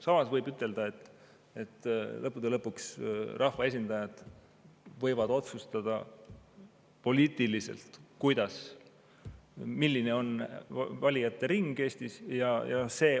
Samas võib ütelda, et lõppude lõpuks rahva esindajad võivad poliitiliselt otsustada, milline on valijate ring Eestis.